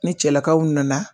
Ni cɛlakaw nana.